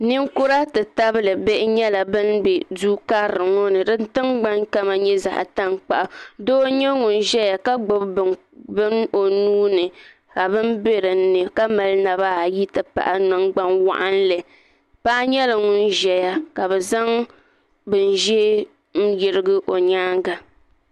ninkura ti tabili bihi nyɛla ban bɛ du karili ŋo ni din dikpuni kama ŋmani zaɣ tankpaɣu laasabu doo n nyɛ ŋun ʒɛya ka gbubi bini o nuuni ka bini bɛ dinni ka mali naba ayi ti pahi nangbani waɣanli paɣa nyɛla ŋun ʒɛya ka bi zaŋ bini ʒiɛ n yirigi o nyaanga